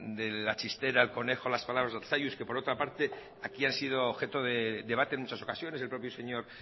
de la chistera el conejo las palabras de arzalluz que por otra parte aquí han sido objeto de debate en muchas ocasiones el propio señor